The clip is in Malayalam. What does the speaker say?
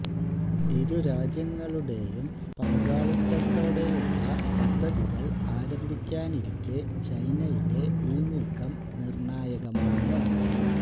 ഇരു രാജ്യങ്ങളുടേയും പങ്കാളിത്തത്തോടെയുള്ള പദ്ധതികള് ആരംഭിക്കാനിരിക്കെ ചൈനയുടെ ഈ നീക്കം നിര്ണ്ണായകമാണ്